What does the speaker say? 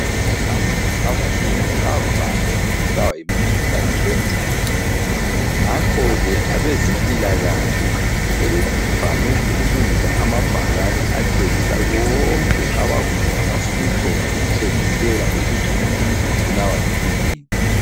Abantu abanengi bavame ukubulawa yimikhuhlane bengazi, ngakho ke abezempilakahle sebevame ukulungisa amabhakani atshengisa konke abakuthi ngama symptoms okutshengisela ukuthi umuntu ubulawa yikwiyini.